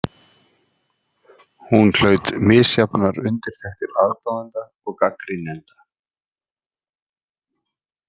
Hún hlaut misjafnar undirtektir aðdáenda og gagnrýnenda.